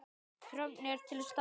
Þörfin er til staðar.